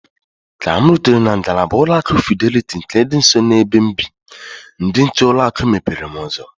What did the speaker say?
Ka m rutere na ngalaba ụlọ akụ Fideliti nke dị nso na-ebe m bị, ndị nche ụlọ akụ mepere m ụzọ.